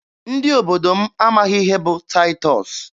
Ndị obodo m amaghị ihe bụ Taịtọs.